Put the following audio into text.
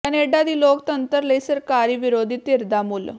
Canada ਦੀ ਲੋਕਤੰਤਰ ਲਈ ਸਰਕਾਰੀ ਵਿਰੋਧੀ ਧਿਰ ਦਾ ਮੁੱਲ